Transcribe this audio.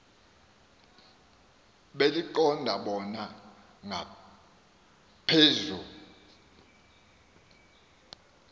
beliqonda bona ngaphezu